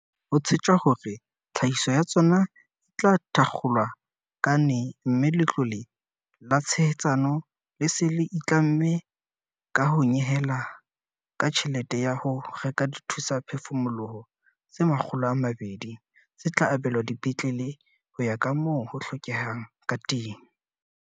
Ho tshetjwa hore tlhahiso ya tsona e tla thakgolwa ka ne mme Letlole la Tshehetsano le se le itlamme ka ho nyehela ka tjhelete ya ho reka dithusaphefumoloho tse 200, tse tla abelwa dipetlele ho ya ka moo ho hlokehang ka teng.